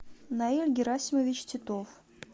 наиль герасимович титов